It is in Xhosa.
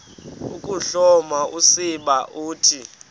ukuhloma usiba uthi